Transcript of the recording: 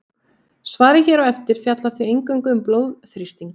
svarið hér á eftir fjallar því eingöngu um blóðþrýsting